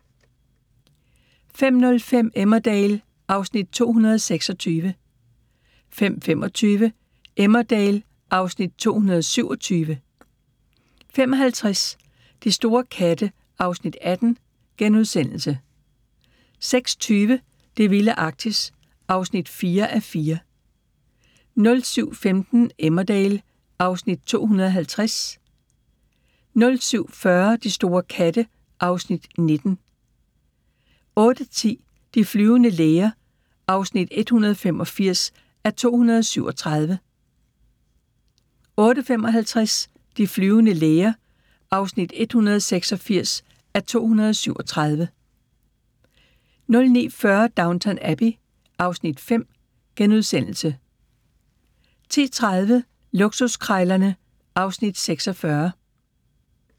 05:05: Emmerdale (Afs. 226) 05:25: Emmerdale (Afs. 227) 05:50: De store katte (Afs. 18)* 06:20: Det vilde Arktis (4:4) 07:15: Emmerdale (Afs. 250) 07:40: De store katte (Afs. 19) 08:10: De flyvende læger (185:237) 08:55: De flyvende læger (186:237) 09:40: Downton Abbey (Afs. 5)* 10:30: Luksuskrejlerne (Afs. 46)